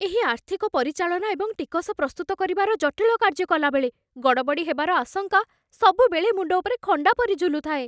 ଏହି ଆର୍ଥିକ ପରିଚାଳନା ଏବଂ ଟିକସ ପ୍ରସ୍ତୁତ କରିବାର ଜଟିଳ କାର୍ଯ୍ୟ କଲାବେଳେ ଗଡ଼ବଡ଼ି ହେବାର ଆଶଙ୍କା ସବୁବେଳେ ମୁଣ୍ଡ ଉପରେ ଖଣ୍ଡା ପରି ଝୁଲୁଥାଏ।